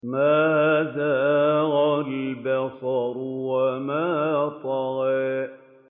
مَا زَاغَ الْبَصَرُ وَمَا طَغَىٰ